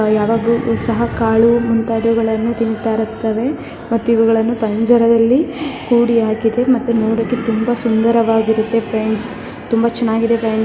ನಾವು ಯಾವಾಗಲೂ ಸಹ ಕಾಳು ಇಂತವುಗಳನ್ನು ತಿಂತಾ ಇರುತ್ತವೆ ಮತ್ತು ಇವುಗಳನ್ನು ಪಂಜರದಲ್ಲಿ ಕೂಡಿ ಹಾಕಿದೆ ಮತ್ತು ನೋಡೋಕೆ ತುಂಬಾ ಸುಂದರವಾಗಿರುತ್ತೆ ಫ್ರೆಂಡ್ಸ್ ತುಂಬಾ ಚೆನ್ನಾಗಿದೆ ಫ್ರೆಂಡ್ಸ್ .